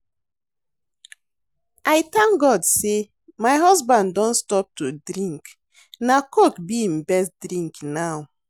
I thank God say my husband don stop to drink na coke be im best drink now